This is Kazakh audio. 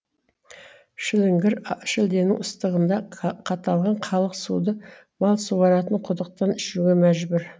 шіліңгір а шілденің ыстығында қ қаталған халық суды мал суаратын құдықтан ішуге мәжбүр